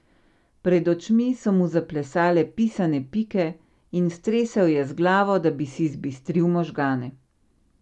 Pred očmi so mu zaplesale pisane pike in stresel je z glavo, da bi si zbistril možgane.